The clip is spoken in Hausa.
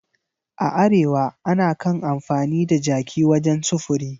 A Arewa ana kan amfani da jaki wajen sufuri